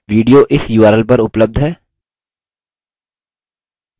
video इस url पर उपलब्ध है